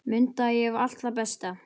Mundu, ég hef allt það besta.